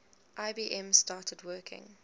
ibm started working